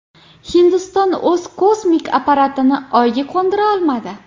Hindiston o‘z kosmik apparatini Oyga qo‘ndira olmadi.